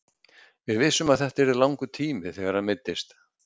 Við vissum að þetta yrði langur tími þegar hann meiddist.